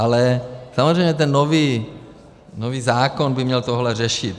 Ale samozřejmě ten nový zákon by měl tohle řešit.